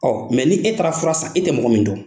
ni e taara fura san e tɛ mɔgɔ min dɔn.